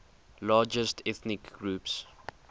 largest ethnic groups